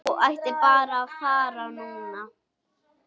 Þú ættir að fara núna.